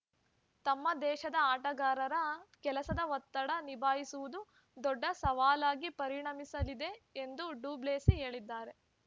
ತಮ್ಮ ದೇಶದ ಆಟಗಾರರ ಕೆಲಸದ ಒತ್ತಡ ನಿಭಾಯಿಸುವುದು ದೊಡ್ಡ ಸವಾಲಾಗಿ ಪರಿಣಮಿಸಲಿದೆ ಎಂದು ಡುಪ್ಲೆಸಿ ಹೇಳಿದ್ದಾರೆ